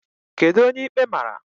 Kedu onye ikpe mara?